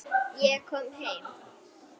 Ég kom heim!